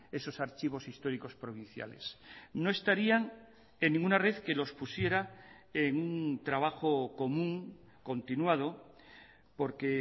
esos archivos históricos provinciales no estarían en ninguna red que los pusiera en un trabajo común continuado porque